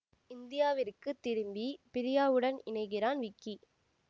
இந்தியாவிற்கு திரும்பி பிரியாவுடன் இணைகிறான் விக்கி